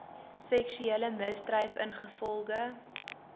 seksuele misdryf ingevolge